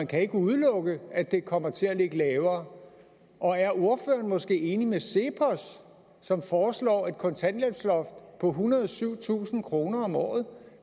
kan udelukkes at det kommer til at ligge lavere og er ordføreren måske enig med cepos som foreslår et kontanthjælpsloft på ethundrede og syvtusind kroner om året